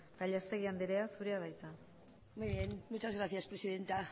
gallastegui anderea zurea da hitza muy bien muchas gracias presidenta